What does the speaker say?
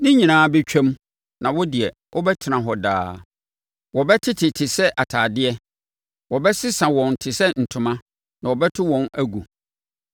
Ne nyinaa bɛtwam, na wo deɛ, wobɛtena hɔ daa; wɔbɛtete te sɛ atadeɛ. Wobɛsesa wɔn te sɛ ntoma na wɔbɛto wɔn agu.